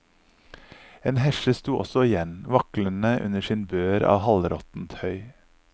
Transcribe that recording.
En hesje sto også igjen, vaklende under sin bør av halvråttent høy.